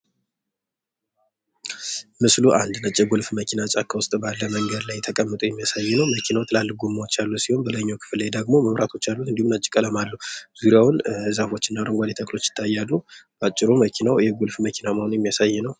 መስሉ አንድነት አንድ ነጭ የጎልፍ መኪና ጫካ ውስጥ ባለ መንገድ ላይ ተቀምጦ የሚያሳይ ነው። መኪናው ትላልቅ ጎማዎች ያሉ ሲሆን፤ በላይኛው ክፍል ላይ ደግሞ መብራቶች አሉጥ እንዲሁም ነጭ ቀለም አለው። ዙሪያውን ዛፎችና አረንጓዴ ተክሎች ይታያሉ። በአጭሩ መኪናው ይሄ የ ጎልፍ መኪና መሆኑን የሚያሳይ ነው።